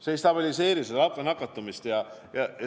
See ei stabiliseeri nakatumist.